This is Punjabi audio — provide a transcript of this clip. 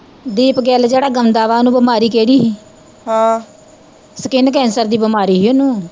ਦੀਪ ਗਿੱਲ ਜਿਹੜਾ ਗਾਉਂਦਾ ਵਾਂ ਓਹਨੂੰ ਬਿਮਾਰੀ ਕਿਹੜੀ ਸੀ ਹਮ skin cancer ਦੀ ਬਿਮਾਰੀ ਸੀ ਓਹਨੂੰ